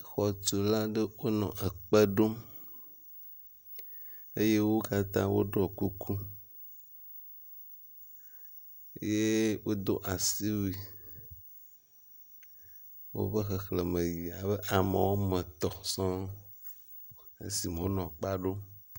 xɔtula ɖe wónɔ ekpe ɖom eye wókatã wóɖɔ kuku ye wodó asiwui wóƒe xexlēme yi abe ame wɔmetɔ̃ sɔŋ esime wónɔ kpea ɖom